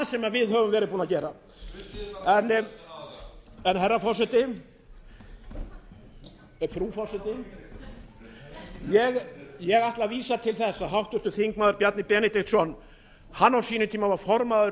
sem við höfum verið að gera en frú forseti ég ætla að vísa til þess að háttvirtur þingmaður bjarni benediktsson var á sínum tíma formaður